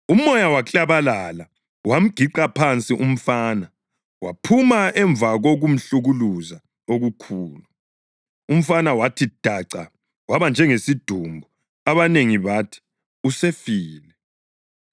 Umoya waklabalala, wamgiqa phansi umfana, waphuma emva kokumhlukuluza okukhulu. Umfana wathi daca, waba njengesidumbu, abanengi bathi, “Usefile.”